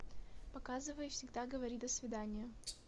показывай всегда говори до свидания